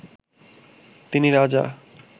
তিনি রাজা